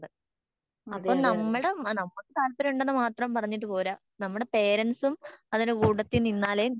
അതെയതെ